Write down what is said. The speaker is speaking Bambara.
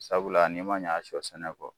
Sabula n'i man ɲɛ a sɔ sɛnɛ kɔ